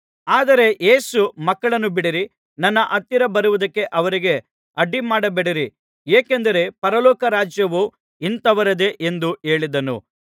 ಆದರೆ ಯೇಸು ಮಕ್ಕಳನ್ನು ಬಿಡಿರಿ ನನ್ನ ಹತ್ತಿರ ಬರುವುದಕ್ಕೆ ಅವರಿಗೆ ಅಡ್ಡಿಮಾಡಬೇಡಿರಿ ಏಕೆಂದರೆ ಪರಲೋಕ ರಾಜ್ಯವು ಇಂಥವರದೇ ಎಂದು ಹೇಳಿದನು